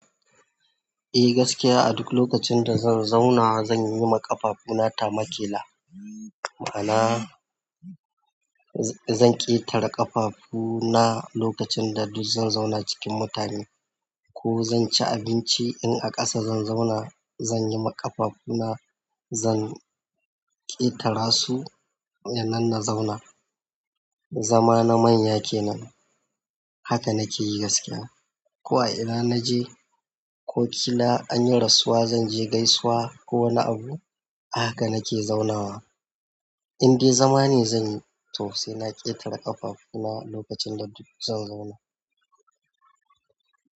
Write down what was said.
Eh gaskiya a duk lokacin da zan zauna zan yi ma ƙafafuna tama ƙila, maana zan ƙetare ƙafafu na lokacin da duk zan zauna cikin mutane ko zan ci abinci in a ƙasa zan zauna zan yi ma ƙafafu na zan ƙetara su ya nan na zauna. Zama na manya kenan haka nake yi gaskiya. Ko a ina na je ko kila anyi rasuwa zan je gaisuwa ko wani abu a haka nake zaunawa in dai zama ne zan yi to sai na ƙetare ƙafafu na lokacin da duk zan zauna.